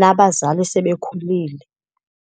nabazali sebekhulile.